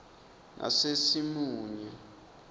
nasesimunye